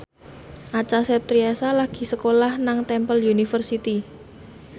Acha Septriasa lagi sekolah nang Temple University